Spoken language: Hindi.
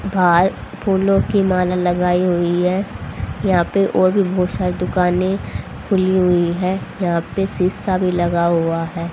बाहर फूलों की माला लगाई हुई है यहां पे और भी बहुत सारी दुकानें खुली हुई है यहां पे शीशा भी लगा हुआ है।